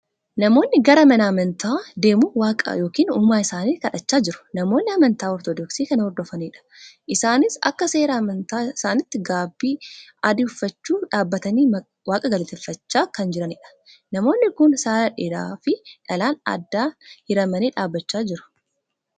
Namoonni gara mana amantaa deemuu waaqa ykn uumaa isaanii kadhachaa jiru. namoonni amantaa ortodoksii kan hordofaniidha. isaanii akka seera amantaa isaaniitti gaabii adii uffachuu dhaabbatanii waaqa galateffachaa kan jiranidha. namoonni kun saala dhiiraa fi dhalaan addaan hiramanii dhaabbachaa jiru.